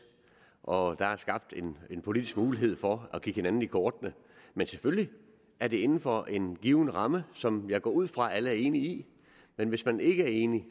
og der er skabt en politisk mulighed for at kigge hinanden i kortene men selvfølgelig er det inden for en given ramme som jeg går ud fra alle er enige i men hvis man ikke er enig